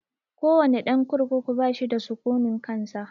Ko wane ɗan kurkuku bashi da sukunin kansa